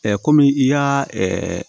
kɔmi i y'a